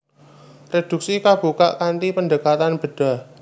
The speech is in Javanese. Reduksi kabukak kanthi pendekatan bedhah